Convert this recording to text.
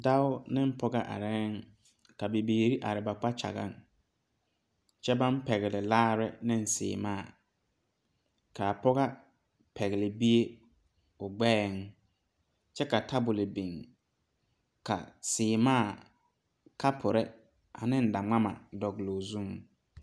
Dɔɔ ne pɔge are ka bibiiri are ba kpakyɛge, kyɛ baŋ pegle laara ne seɛmaa, kaa pɔgega pegle bie o gbeɛɛ kyɛ ka tabol biŋ, ka seɛmaa, kapure ane daŋmama dogle o zuŋ.